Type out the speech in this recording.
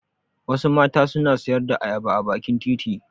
Wasu mata suna sayar da ayaba a bakin titi.